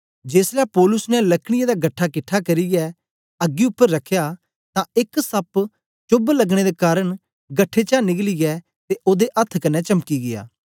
जेसलै पौलुस ने लकड़ीयें दा गट्ठा किट्ठा करियै अग्गी उपर रखया तां एक सप्प चोभ लगने दे कारन गठे चा निकलया ते ओदे अथ्थ कन्ने चमकी गीया